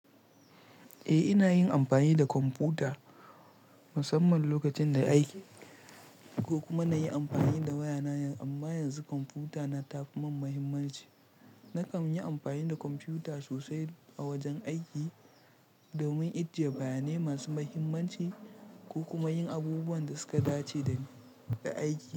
Eh, ina yin amfani da kwamfuta musamman lokacin da aiki ko kuma nayi amfani da waya na, amma yanzu kwamfuta na tafi mun muhimmanci. Nakan yi amfani da kwamfuta sosai a wajen aiki domin ijjiye bayanai masu muhimmanci ko kuma yin abubuwan da suka dace da aiki.